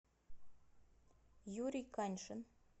юрий каньшин